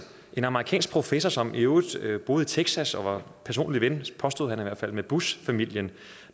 en amerikansk professor som i øvrigt boede i texas og var personlig ven påstod han i hvert fald med bushfamilien